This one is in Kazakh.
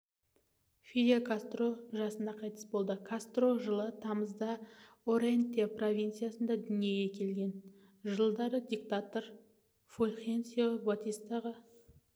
фидель кастро жасында қайтыс болды кастро жылы тамызда орентье провинциясында дүниеге келген жылдары диктатор фульхенсио батистаға